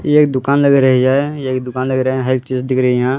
ये एक दुकान लग रही है एक दुकान लग रहे हैं हर चीज दिख रही है यहां।